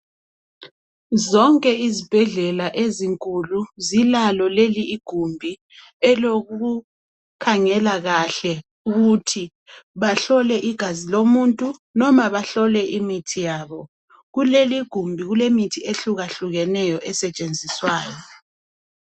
Zonke izibhedlela ezinkulu zilalo leli igumbi elokukhangela kahle ukuthi bahlole igazi lomuntu noma bahlole imithi yabo kuleli gumbi kulemithi ehluka hlukeneyo esetshenziswayo.